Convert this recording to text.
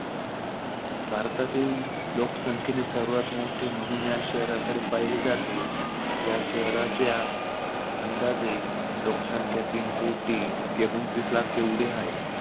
भारतातील लोकसंख्येने सर्वात मोठे म्हणुन या शहराकडे पाहिले जाते. या शहराची अंदाजे लोकसंख्या तीन कोटी एकोणतीस लाख ऐवढी हाये.